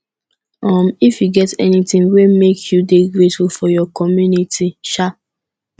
um you get anything wey make you dey grateful for your community um